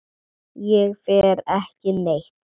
Ég fer ekki neitt.